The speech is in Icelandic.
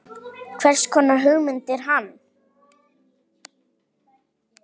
Hvers konar hugmynd er hann?